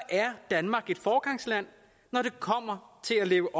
danmark et foregangsland når det kommer til at leve